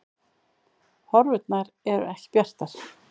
Horfurnar eru ekki bjartar